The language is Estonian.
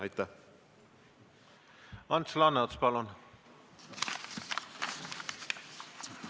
Ants Laaneots, palun!